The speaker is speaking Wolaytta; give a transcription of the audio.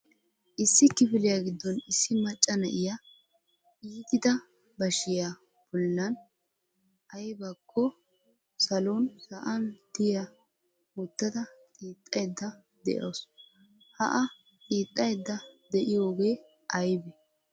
Issi kifiliya giddon issi macca na'iya ittida bashiya bollan aybbakko salon sa'an diyaa wottada xiixxayda de'awusu. Ha a xiixaydda de'iyoogee aybbe?